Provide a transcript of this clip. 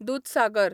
Dudhsagar